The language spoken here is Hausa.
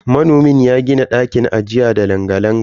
Manomin ya gini ɗakin ajiya da langa-langa.